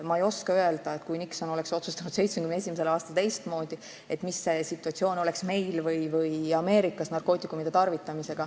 Ma ei oska öelda, milline oleks narkootikumide tarvitamise situatsioon meil või Ameerikas, kui Nixon oleks 1971. aastal teistmoodi otsustanud.